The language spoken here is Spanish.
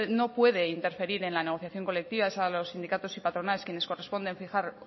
no puede interferir en la negociación colectiva es a los sindicatos y patronales quienes corresponden fijar